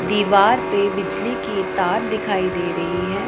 दीवार पे बिजली की तार दिखाई दे रही है।